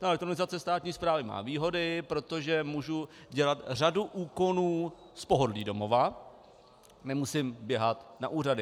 Ta elektronizace státní správy má výhody, protože můžu dělat řadu úkonů z pohodlí domova, nemusím běhat na úřady.